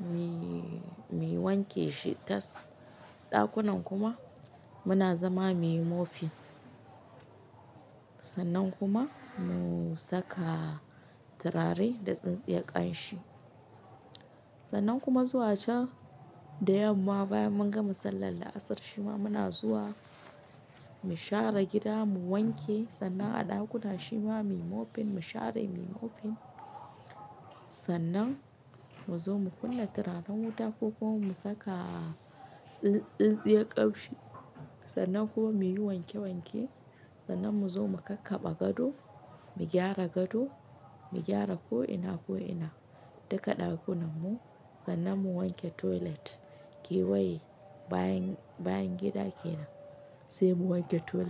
muyi wanke shi tas ɗakunan kuma muna zama muyi mopping. Sannan kuma mu saka turare da tsintsiya ƙanshi. Sannan kuma zuwa can da yamma bayan mun gama sallar la'asar shima muna zuwa mu share gida, mu wanke sannan a ɗakuna shima muyi mopping, mu share muyi mopping. Sannan mu zo mu kunna turaren wuta ko kuma mu saka tsintsiya ƙanshi. Sannan kuma muyi wanke wanke. Sannan mu zo mu kakkaba gado, mu gyara gado, mu gyara ko'ina, ko'ina duka ɗakunan mu. Sannan mu wanke toilet, kewaye bayan, bayan gida kenan sai mu wanke toilet.